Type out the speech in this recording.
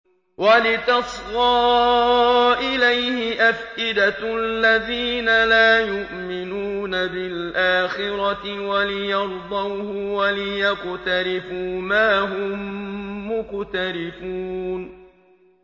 وَلِتَصْغَىٰ إِلَيْهِ أَفْئِدَةُ الَّذِينَ لَا يُؤْمِنُونَ بِالْآخِرَةِ وَلِيَرْضَوْهُ وَلِيَقْتَرِفُوا مَا هُم مُّقْتَرِفُونَ